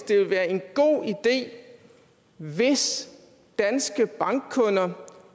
det vil være en god idé hvis danske bankkunder